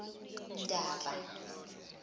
naba